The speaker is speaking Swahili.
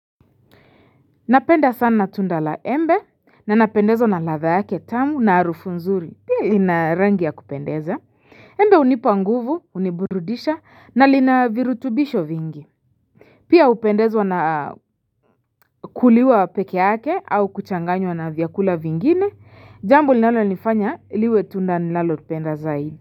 Napenda sana tunda la embe na napendezwa na latha yake tamu na harufu nzuri pia lina rangi ya kupendeza Embe unipa nguvu, uniburudisha na lina virutubisho vingi Pia upendezwa na kuliwa pekeake au kuchanganywa na vyakula vingine jambo linalonifanya liwe tunda nilalopenda zaidi.